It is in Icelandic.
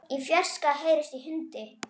Í fjarska heyrist í hundi.